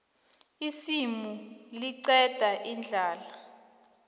isimu liqeda indlala